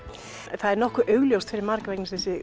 það er nokkuð augljóst fyrir marga